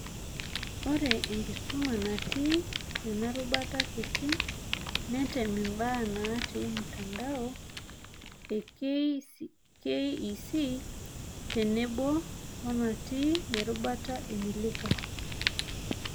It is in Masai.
Ore enkisuma natii ena rubata kiti, netem imbaa naati mtandoa e KEC tenebo wonatii erubata Elimika